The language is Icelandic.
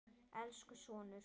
Elsku sonur.